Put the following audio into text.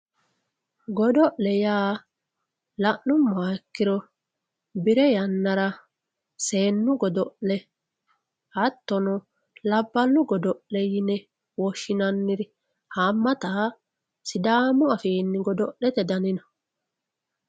Godo'le yaa la'numoha ikkiro bire yanara seenu godo'le hatono labalu godo'le yine woshinaniri haamata sidamu affinni gado'lete danni noo